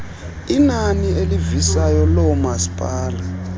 inani elivisayo loomasipala